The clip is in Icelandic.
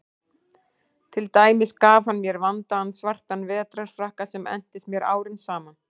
Til dæmis gaf hann mér vandaðan svartan vetrarfrakka sem entist mér árum saman.